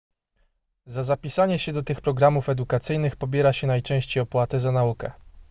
za zapisanie się do tych programów edukacyjnych pobiera się najczęściej opłatę za naukę